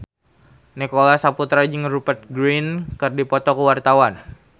Nicholas Saputra jeung Rupert Grin keur dipoto ku wartawan